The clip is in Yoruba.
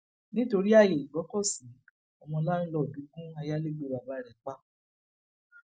nítorí ààyè ìgbọkọsí ọmọ láńlòódù gun ayálégbé bàbá rẹ pa